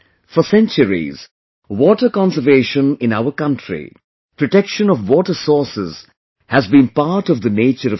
for centuries, water conservation in our country; protection of water sources has been part of the nature of society